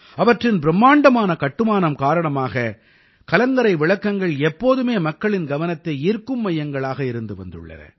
அவற்றின் பிரும்மாண்டமான கட்டுமானம் காரணமாக கலங்கரை விளக்கங்கள் எப்போதுமே மக்களின் கவனத்தை ஈர்க்கும் மையங்களாக இருந்து வந்துள்ளன